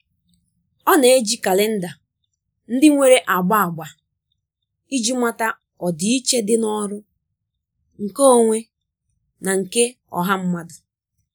Ọ na-eji kalenda ndị nwere agba agba iji mata ọdịiche dị n'ọrụ, nke onwe, na nke ọha mmadụ.